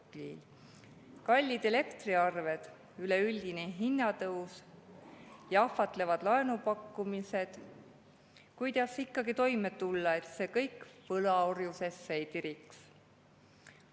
elektriarved, üleüldine hinnatõus ja ahvatlevad laenupakkumised – kuidas ikkagi toime tulla, et see kõik võlaorjusesse ei tiriks?